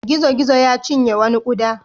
Gizo-gizo ya cinye wani ƙuda.